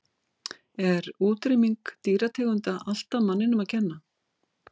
Er útrýming dýrategunda alltaf manninum að kenna?